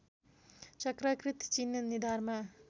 चक्राकृति चिह्न निधारमा